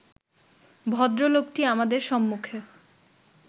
ভদ্রলোকটি আমাদের সম্মুখে